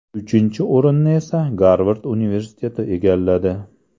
Uchinchi o‘rinni esa Garvard universiteti egalladi.